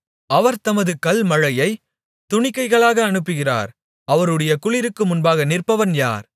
அவர் தமது கல்மழையைத் துணிக்கைகளாக அனுப்புகிறார் அவருடைய குளிருக்கு முன்பாக நிற்பவன் யார்